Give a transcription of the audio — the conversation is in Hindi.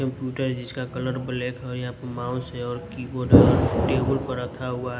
कंप्यूटर जिसका कलर ब्लैक है। यहाँ प माउस है और कीबोर्ड है जो टेबल पर रखा हुआ है।